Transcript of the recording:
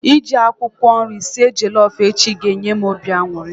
Iji akwụkwọ nri sie jollof echi ga enye m obi aṅụrị